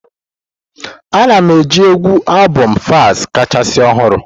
Ana m ege égwù albomu Falz kacha ọhụrụ.